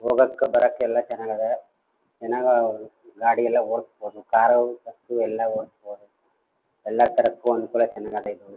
ಹೋಗೋಕ್ ಬರೋಕ್ ಎಲ್ಲ ಚನ್ನಾಗ್ ಅದೆ ಚನ್ನಾಗ್ ಗಾಡಿ ಎಲ್ಲ ಹೊಡ್ಸಬೋದು ಕಾರ್ ಬಸ್ ಎಲ್ಲ ಹೊಡ್ಸಬಹುದು ಎಲ್ಲ ತರದ ಚನ್ನಾಗ್ ಅಧ ಇದು.